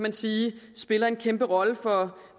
at sige spiller en kæmpe rolle for